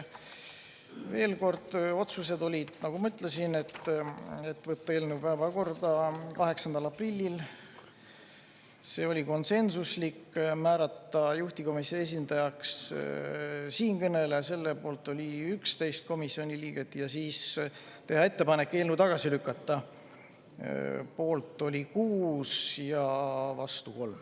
Veel kord: otsused olid, nagu ma ütlesin, need, et võtta eelnõu päevakorda 8. aprillil, see oli konsensuslik, määrata juhtivkomisjoni esindajaks siinkõneleja, selle poolt oli 11 komisjoni liiget, ja teha ettepanek eelnõu tagasi lükata, poolt oli 6 ja vastu 3.